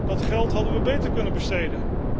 Dat geld hadden wij beter kunnen besteden.